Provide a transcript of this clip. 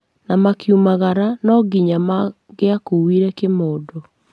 Na makiumagara no nginya mangĩakuire kĩmodo